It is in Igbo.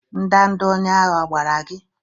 Ndanda onye agha a gbara gi?